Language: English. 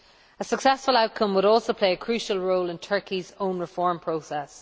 A successful outcome would also play a crucial role in Turkey's own reform process.